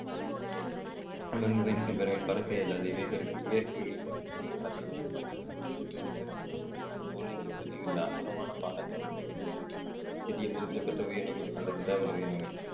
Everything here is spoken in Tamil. பென்குயின் பறவை பறக்க இயலாது இவைகளுக்கு இறக்கைகளை பதிலாக நீந்துவதற்கு பயன்படும் பிலிப்பர் மற்றும் தோலிலை பொதியுள்ள அகலமான பாதங்களை கொண்டுள்ளது சிறிய முதுகெலும்பற்ற உயிரினங்கள்